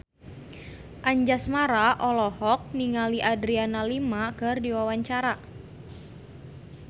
Anjasmara olohok ningali Adriana Lima keur diwawancara